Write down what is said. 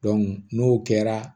n'o kɛra